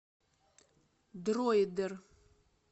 дроидер